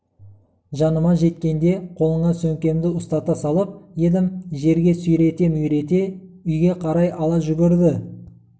жаныма жеткенде қолына сөмкемді ұстата салып едім жерге сүйрете-мүйрете үйге қарай ала жүгірді